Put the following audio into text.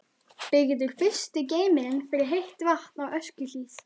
Byggður fyrsti geymirinn fyrir heitt vatn á Öskjuhlíð.